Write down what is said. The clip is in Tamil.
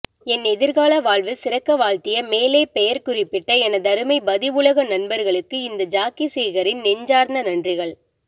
என் எதிர்கால வாழ்வு சிறக்க வாழ்த்திய மேலே பெயர் குறிப்பிட்ட எனதருமை பதிஉலக நண்பர்களுக்கு இந்த ஜாக்கிசேகரின் நெஞ்சார்ந்த நன்றிகள்